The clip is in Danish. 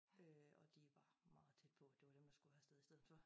Øh og de var meget tæt på det var dem der skule have været afsted i stedet fo